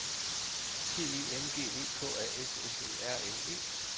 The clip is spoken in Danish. P E N G E K A S S E R N E